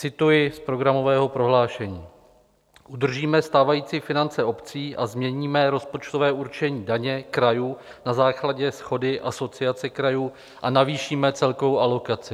Cituji z programového prohlášení: "Udržíme stávající finance obcí a změníme rozpočtové určení daně krajů na základě shody Asociace krajů a navýšíme celkovou alokaci."